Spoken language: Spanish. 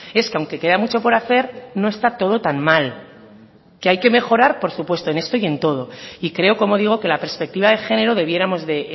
es que aunque queda mucho por hacer no está todo tan mal que hay que mejorar por supuesto en esto y en todo y creo como digo que la perspectiva de género debiéramos de